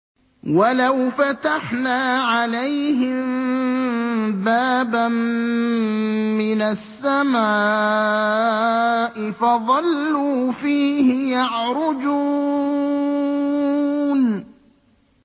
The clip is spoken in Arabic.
وَلَوْ فَتَحْنَا عَلَيْهِم بَابًا مِّنَ السَّمَاءِ فَظَلُّوا فِيهِ يَعْرُجُونَ